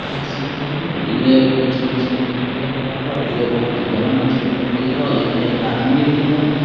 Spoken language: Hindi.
देख सकते है ये कुछ मछली पट्टी लग रहा और ये बोहोत ही बड़ा मच्छी पट्टी हैं और इधर एक आदमी भी है।